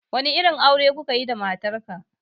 Wani irin aure kukayi da matar ka?